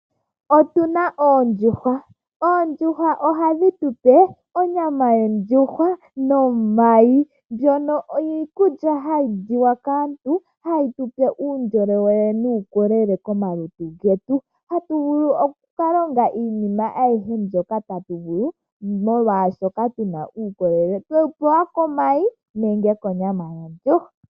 Otuna oondjuhwa. Oondjuhwa ohadhi tupe onyama nomayi. Ndjono iikulya hayi liwa kaantu hayi tupe uundjolowele nuukolele komalutu getu, hatuvulu oku kalonga iinima ayihe mbyoka tatu vulu molwaashoka otuna uukolele twewupewa komayi nenge konyama yetu.